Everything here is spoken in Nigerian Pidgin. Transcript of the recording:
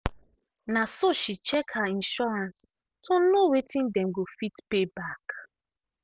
um she check her insurance to know wetin dem go fit pay back.